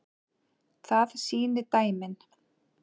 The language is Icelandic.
Það sýni dæmin.